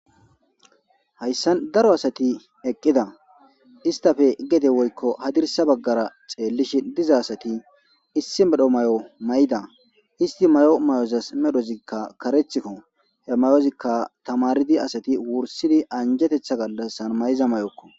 Hayssan daro asati eqqida istafe gede woykko hadirsa baggara xeellishi diza asati issi medho may'o mayda isti may'o may'ozas medhozikka karethikko he may'ozikka tamaridi asati wursidi anjetetha gallassan mayza may'okko.